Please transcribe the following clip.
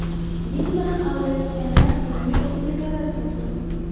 Din bilan aldayotganlar dinning o‘ziga zarar keltiradi.